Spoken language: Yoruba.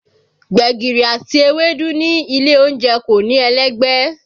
Gbẹ̀gìrì àti ewédú ní ilé oúnjẹ kò ní ẹlẹ́gbẹ́